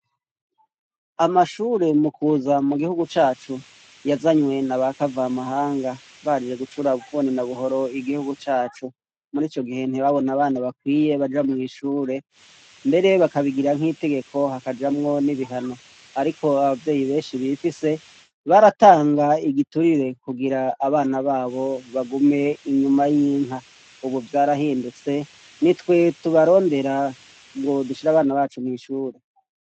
Amashure mu kuza mu gihugu cacu yazanywe na bakava mahanga baje gucura bufuni na buhoro igihugu cacu, murico gihe nti babone abana bakwiye baja mwishure mbere bakabigira nkitegeko hakajamwo n'ibihano ariko abavyeyi benshi bifise baratanga igiturire kugira abana babo bagume inyuma y'inka ubu vyarahindutse nitwe tubarondera ngo dushire abana bacu mwishure.